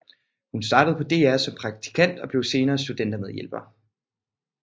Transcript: Hun startede på DR som praktikant og blev senere studentermedhjælper